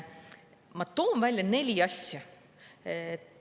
Ma toon välja neli asja.